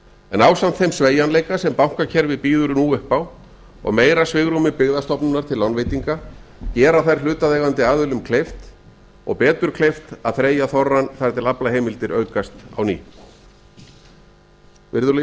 en ásamt þeim sveigjanleika sem bankakerfið býður nú upp á og meira svigrúmi byggðastofnunar til lánveitinga gera þær hlutaðeigandi aðilum kleift og betur kleift að þreyja þorrann þar til aflaheimildir aukast á ný virðulegi